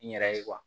N yɛrɛ ye